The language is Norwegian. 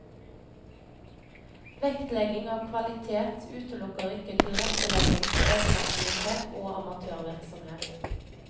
Vektlegging av kvalitet utelukker ikke tilrettelegging for egenaktivitet og amatørvirksomhet.